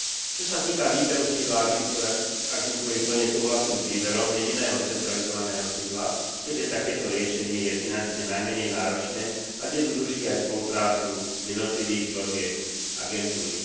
Čo sa týka výberu sídla agentúry, plne súhlasím s výberom jediného centralizovaného sídla, keďže takéto riešenie je finančne najmenej náročné a zjednoduší aj spoluprácu jednotlivých zložiek agentúry.